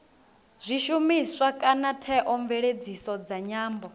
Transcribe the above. zwishumiswa kana theomveledziso dza nyambo